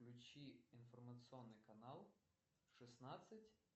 включи информационный канал шестнадцать